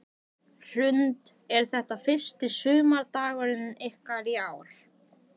Hrund: Er þetta fyrsti sumardagurinn ykkar í ár?